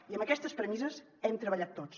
i amb aquestes premisses hem treballat tots